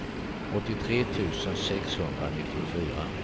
åttiotre tusen sexhundranittiofyra